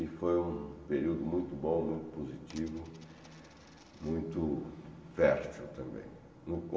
E foi um período muito bom, muito positivo, muito fértil também. No